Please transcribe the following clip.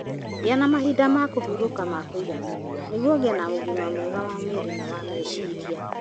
Gĩa na mahinda ma kũhurũka ma kũigana nĩguo ũgĩe na ũgima mwega wa mwĩrĩ na wa meciria.